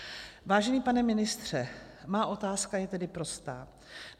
Vážený pane ministře, má otázka je tedy prostá.